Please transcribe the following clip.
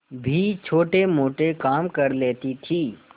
भी छोटेमोटे काम कर लेती थी